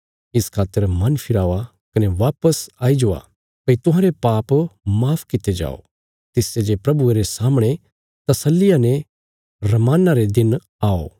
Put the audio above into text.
इस खातर मन फिरावा कने वापस आई जावा भई तुहांरे पाप माफ कित्ते जाओ तिसते जे प्रभुये रे सामणे तसल्लिया ने रमान्ना रे दिन आओ